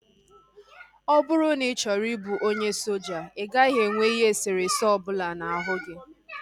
Ọ bụrụ na ị chọrọ ịbụ onye soja, ị gaghị enwe ihe eserese ọbụla n'ahụ gi